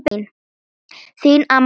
Þín amma, Sigrún.